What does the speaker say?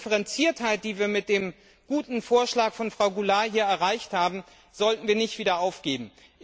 Genau die Differenziertheit, die wir mit dem guten Vorschlag von Frau Goulard hier erreicht haben, sollten wir nicht wieder aufgeben.